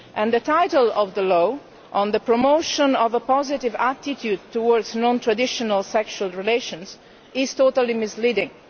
The title of the law on the promotion of a positive attitude towards non traditional sexual relations' is totally misleading.